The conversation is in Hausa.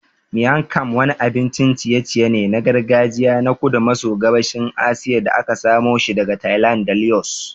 Miang kham wani abincin ciye-ciye ne na gargajiya na kudu maso gabashin Asiya da aka samoshi daga Thailand da Laos.